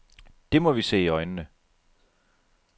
Det må vi se i øjnene.